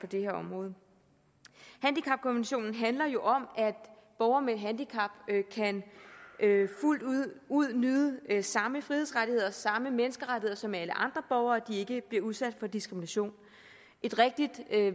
det her område handicapkonventionen handler jo om at borgere med handicap fuldt ud kan nyde samme frihedsrettigheder samme menneskerettigheder som alle andre borgere at de ikke bliver udsat for diskrimination et rigtig